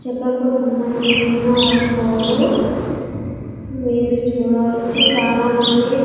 చెక్కకు సంబంధించిన వస్తువులు మీరు చూడవచ్చు చాలా మంది--